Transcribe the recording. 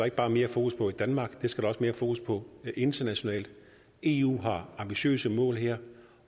ikke bare mere fokus på i danmark det skal der også mere fokus på internationalt eu har ambitiøse mål her